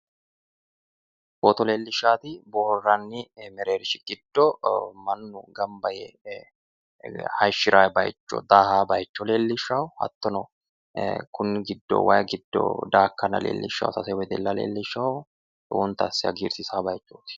footo leellishshaati boohaarranni mereershi giddo mannu gamba yee hayishiranno bayicho daaha bayicho leellishshanno hattono ee kunni giddo wayi giddo daakkanna leellishshanno sase wedella leellishshanno lowonta asse hagiirsiisanno bayiichooti.